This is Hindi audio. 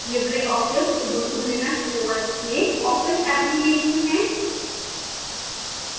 libreoffice ubuntu linux os में office application है